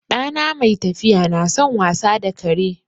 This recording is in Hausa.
Ɗana mai tafiya na son wasa da kare.